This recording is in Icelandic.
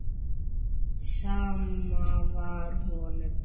Sama var honum.